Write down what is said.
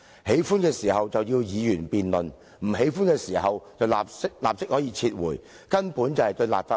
喜歡的時候，要議員辯論；不喜歡的時候，便立即撤回，根本不尊重立法會。